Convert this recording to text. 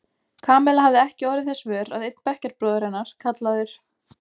Kamilla hafði ekki orðið þess vör að einn bekkjarbróðir hennar, kallaður